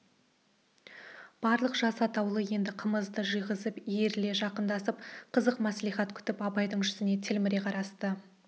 барлық жас атаулы енді қымызды жиғызып иіріле жақындасып қызық мәслихат күтіп абайдың жүзіне телміре қарасты